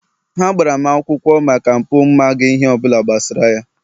ha gbara m akwụkwọ maka mpụ m maghị ihe ọ bụla gbasara ya